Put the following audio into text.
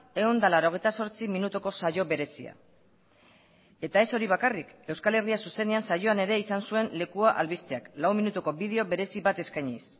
ehun eta laurogeita zortzi minutuko saio berezia eta ez hori bakarrik euskal herria zuzenean saioan ere izan zuen lekua albisteak lau minutuko bideo berezi bat eskainiz